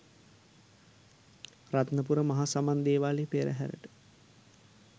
රත්නපුර මහ සමන් දේවාලයේ පෙරහැරට